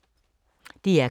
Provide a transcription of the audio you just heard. DR K